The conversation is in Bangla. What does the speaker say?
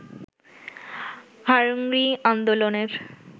হাংরি আন্দোললের